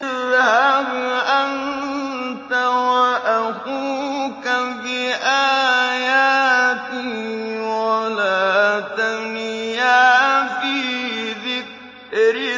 اذْهَبْ أَنتَ وَأَخُوكَ بِآيَاتِي وَلَا تَنِيَا فِي ذِكْرِي